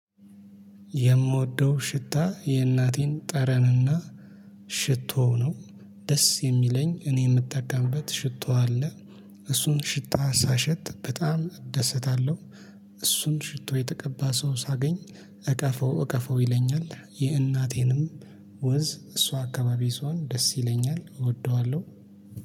የምወደው ሽታ የእናቴን ጠረንና ሽቶው ነው። ደስ የሚለኝ እኔ የምጠቀምበት ሽቶ አለ። እሱን ሽታ ሳሸት በጣም እደሰታለሁ። እሱን ሽቶ የተቀባ ሰው ሳገኝ እቀፈው እቀፈው ይለኛል። የእናቴንም ወዝ እሷ አካባቢ ስሆን ደስ ይለኛል እወደዋለሁ